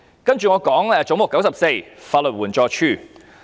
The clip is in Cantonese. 接着，我想談談"總目 94― 法律援助署"。